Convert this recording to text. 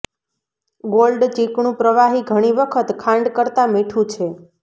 gold ચીકણું પ્રવાહી ઘણી વખત ખાંડ કરતાં મીઠું છે